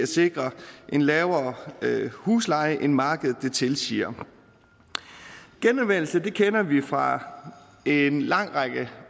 sikre en lavere husleje end markedet tilsiger genanvendelse kender vi jo fra en lang række